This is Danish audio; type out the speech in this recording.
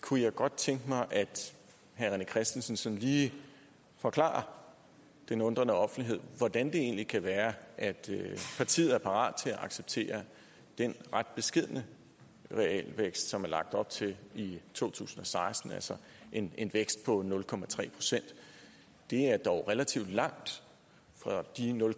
kunne jeg godt tænke mig at herre rené christensen sådan lige forklarer den undrende offentlighed hvordan det egentlig kan være at partiet er parat til at acceptere den ret beskedne realvækst som der er lagt op til i to tusind og seksten altså en en vækst på nul procent det er dog relativt langt fra de nul